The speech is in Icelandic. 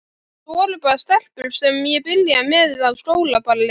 Þetta voru bara stelpur sem ég byrjaði með á skólaballi.